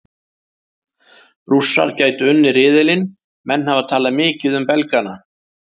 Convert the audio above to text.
Rússar gætu unnið riðilinn Menn hafa talað mikið um Belgana.